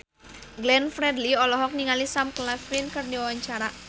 Glenn Fredly olohok ningali Sam Claflin keur diwawancara